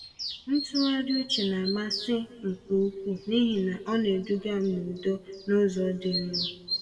Ntụgharị uche n'amasị nke ukwuu n’ihi na ọ na-eduga m n’udo n’ụzọ dị nro.